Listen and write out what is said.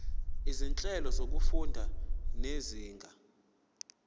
izinhlelo zokufunda zezinga